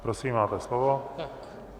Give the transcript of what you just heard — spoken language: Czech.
Prosím, máte slovo.